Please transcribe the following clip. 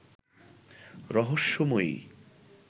রহস্যময়ী